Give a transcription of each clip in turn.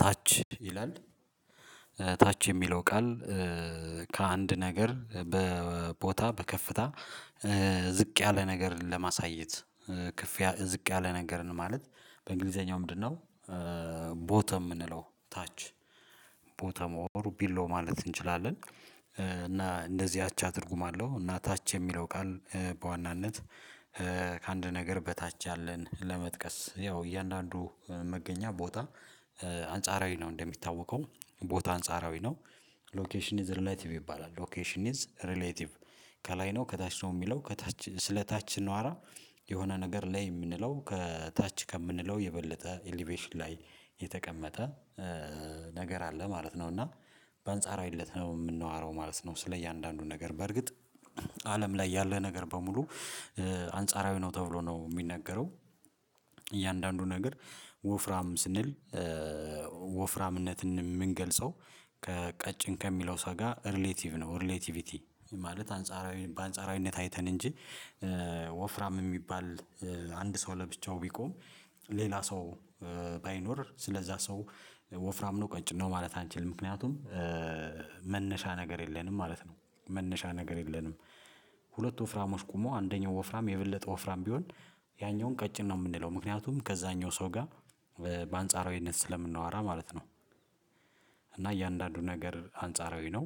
ታች ይላል ታች የሚለው ቃል ከአንድ ነገር በቦታ በከፍታ ዝቅ ያለ ነገር ለማሳየት ከፍ ዝቅ ያለ ነገርን ማለት በእንግሊዘኛው ምንድነው? ቦተም የምንለው ታች ቦተም ኦር ቢለው ማለት እንችላለን እና እንደዚህ አቻ ትርጉም አለው እና ታች የሚለው ቃል በዋናነት ከአንድ ነገር በታች ያለን ለመጥቀስ ያው እያንዳንዱ መገኛ ቦታ አንጻራዊ ነው እንደሚታወቀው ቦታ አንጻራዊ ነው። ሎኬሽን ኢዝ ሪሌቲቭ ይባላል ሎኬሽን ኢዝ ሪሌቲቭ ከላይ ነው ከታች ነው የሚለው ከታች ስለ ታች ስናወራ የሆነ ነገር ላይ የምንለው ከታች ከምንለው የበለጠ ኤሌቬሽን ላይ የተቀመጠ ነገር አለ ማለት ነው። እና በአንጻራዊ እለት ነው የምናዋረው ማለት ነው ስለ እያንዳንዱን ነገር በእርግጥ አለም ላይ ያለ ነገር በሙሉ አንጻራዊ ነው ተብሎ ነው የሚነገረው። እያንዳንዱ ነገር ወፍራም ስንል ወፍራምነትን የምንገልጸው ከቀጭን ከሚለው ሰው ጋር ሪሌቲቭ ነው። ሪሌቲቪቲ ማለት አንጻራዊ በአንጻራዊነት አይተን እንጂ ወፍራም የሚባል አንድ ሰው ለብቻው ቢቆም ሌላ ሰው ባይኖር ስለዛ ሰው ወፍራም ነው ቀጭን ነው ማለት። አንችልም ምክንያቱም መነሻ ነገር የለንም ማለት ነው መነሻ ነገር የለንም። ሁለት ወፍራሞች ቆሞ አንደኛው ወፍራም የበለጠ ወፍራም ቢሆን ያኛውን ቀጭን ነው የምንለው ምክንያቱም ከዛኛው ሰው ጋር በአንጻራዊነት ስለምናወራ ማለት ነው። እና እያንዳንዱ ነገር አንጻራዊ ነው።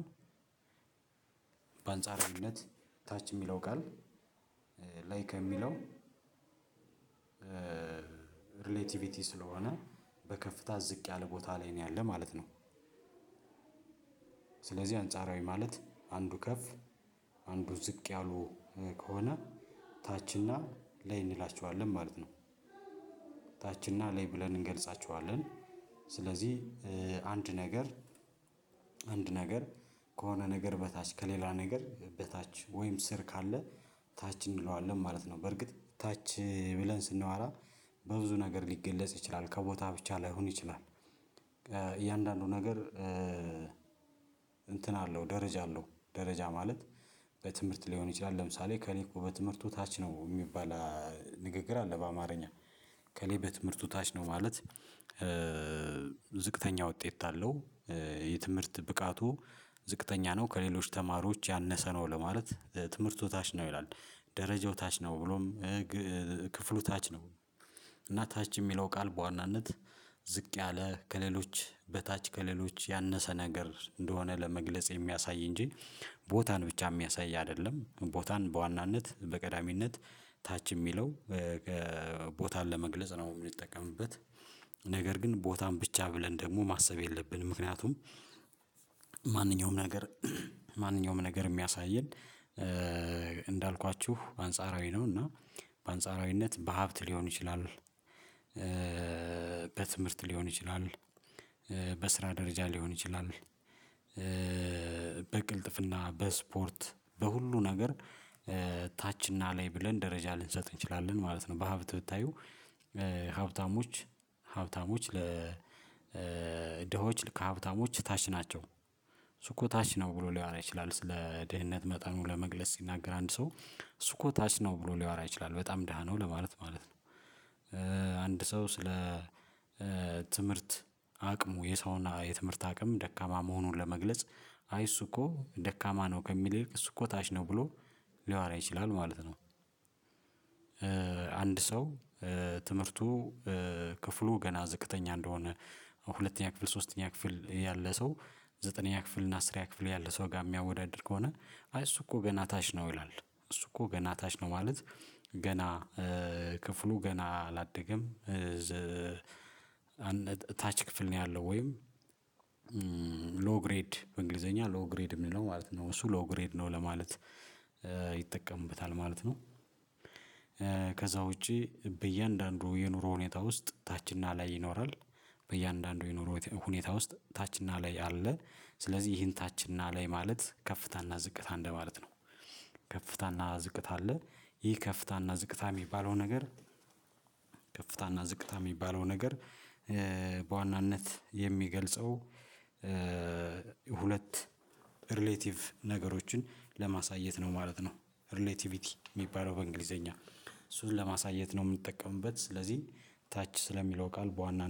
በአንጻራዊነት ታች የሚለው ቃል ላይ ከሚለው ሪሌቲቪቲ ስለሆነ በከፍታ ዝቅ ያለ ቦታ ላይ ነው ያለው ማለት ነው። ስለዚህ አንጻራዊ ማለት አንዱ ከፍ አንዱ ዝቅ ያሉ ከሆነ ታች እና ላይ እንላቸዋለን ማለት ነው። ታች እና ላይ ብለን እንገልጻቸዋለን ስለዚህ አንድ ነገር አንድ ነገር ከሆነ ነገር በታች ከሌላ ነገር በታች ወይም ስር ካለ ታች እንለዋለን ማለት ነው በእርግጥ ታች ብለን ስናወራ በብዙ ነገር ሊገለጽ ይችላል ከቦታ ብቻ ላይሆን ይችላል። እያንዳንዱ ነገር እንትን አለው ደረጃ አለው ደረጃ ማለት በትምህርት ሊሆን ይችላል ለምሳሌ እከሌ እኮ በትምህርቱ ታች ነው የሚባል ንግግር አለ በአማርኛ እከሌ በትምህርቱ ታች ነው ማለት ዝቅተኛ ውጤት አለው። የትምህርት ብቃቱ ዝቅተኛ ነው ከሌሎች ተማሪዎች ያነሰ ነው ለማለት ትምህርቱ ታች ነው ይላል ደረጃው ታች ነው ብሎም ክፍሉ ታች ነው። እና ታች የሚለው ቃል በዋናነት ዝቅ ያለ ከሌሎች በታች ከሌሎች ያነሰ ነገር እንደሆነ ለመግለጽ የሚያሳይ እንጂ ቦታን ብቻ የሚያሳይ አይደለም ቦታን በዋናነት በቀዳሚነት ታች የሚለው ቦታን ለመግለጽ ነው የምንጠቀምበት። ነገር ግን ቦታን ብቻ ብለን ደግሞ ማሰብ የለብንም ምክንያቱም ማንኛውም ነገር ማንኛውም ነገር የሚያሳየን እንዳልኳችሁ አንጻራዊ ነው እና በአንጻራዊነት በሀብት ሊሆን ይችላል በትምህርት ሊሆን ይችላል በስራ ደረጃ ሊሆን ይችላል በቅልጥፍና በስፖርት በሁሉ ነገር ታችና ላይ ብለን ደረጃ ልንሰጥ እንችላለን ማለት ነው። በሀብት ብታዩ ሀብታሞች ሀብታሞች ለ ድሆች ከሀብታሞች ታች ናቸው እሱ እኮ ታች ነው ብሎ ሊያወራ ይችላል ስለ ድህነት መጠኑ ለመግለጽ ሲናገር አንድ ሰው እሱ እኮ ታች ነው ብሎ ሊያወራ ይችላል በጣም ድሃ ነው ለማለት ማለት ነው። አንድ ሰው ስለ ትምህርት አቅሙ የሰውና የትምህርት አቅም ደካማ መሆኑን ለመግለጽ አይ እሱ እኮ ደካማ ነው ከሚል ይልቅ እሱ እኮ ታች ነው ብሎ ሊያወራ ይችላል ማለት ነው። አንድ ሰው ትምህርቱ ክፍሉ ገና ዝቅተኛ እንደሆነ ሁለተኛ ክፍል ሶስተኛ ክፍል ያለ ሰው ዘጠነኛ ክፍል እና አስረኛ ክፍል ያለ ሰው ጋር የሚያወዳድር ከሆነ እሱ እኮ ገና ታች ነው ይላል እሱ እኮ ገና ታች ነው ማለት ገና ክፍሉ ገና አላደገም እና ታች ክፍል ነው ያለው ወይም ሎው በእንግሊዘኛ ሎዉግሬድ የሚለው ማለት ነው እሱ ሎዉግሬድ ነው ለማለት ይጠቀምበታል ማለት ነው። ከዛ ውጪ በእያንዳንዱ የኑሮ ሁኔታ ውስጥ ታችና ላይ ይኖራል በእያንዳንዱ የኑሮ ሁኔታ ውስጥ ታችና ላይ አለ ስለዚህ ይሄን ታችና ላይ ማለት ከፍታና ዝቅታ እንደማለት ነው። ከፍታና ዝቅታ አለ ይህ ከፍታና ዝቅታ የሚባለው ነገር ከፍታና ዝቅታ የሚባለው ነገር በዋናነት የሚገልጸው ሁለት ሪሌቲቭ ነገሮችን ለማሳየት ነው ማለት ነው። ሪሌቲቪቲ የሚባለው በእንግሊዘኛ እሱን ለማሳየት ነው የምንጠቀምበት ስለዚህ ታች ስለሚለው ቃል በዋና